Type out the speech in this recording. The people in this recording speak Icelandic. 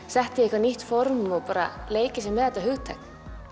setta í eitthvað nýtt form og bara leikið sér með þetta hugtak